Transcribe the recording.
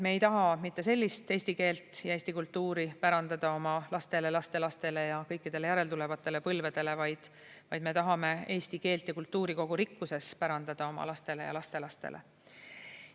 Me ei taha mitte sellist eesti keelt ja eesti kultuuri pärandada oma lastele, lastelastele ja kõikidele järeltulevatele põlvedele, vaid me tahame eesti keelt ja kultuuri kogu rikkuses pärandada oma lastele ja lastelastele.